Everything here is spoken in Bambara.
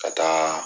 Ka taa